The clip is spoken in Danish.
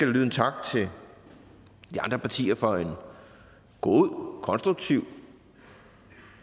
lyde en tak til de andre partier for en god konstruktiv